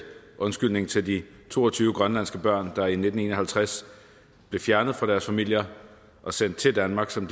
undskyldning til de to og tyve grønlandske børn der i nitten en og halvtreds blev fjernet fra deres familier og sendt til danmark som